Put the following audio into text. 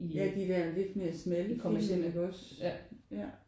Ja de der lidt mere smalle film iggås ja